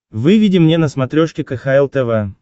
выведи мне на смотрешке кхл тв